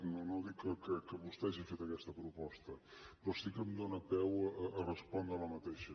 no no dic que vostè hagi fet aquesta proposta però sí que em dóna peu a respondrela